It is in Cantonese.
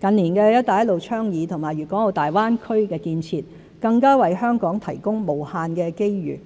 近年的"一帶一路"倡議和大灣區建設，更為香港提供無限機遇。